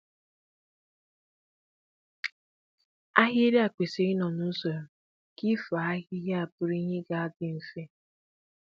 ahịrị à kwesịrị ị nọ n'usoro ,ka ifo ahịhịa bụrụ ìhè ga dị mfe